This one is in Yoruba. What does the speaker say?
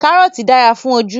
Karọọti dara fun oju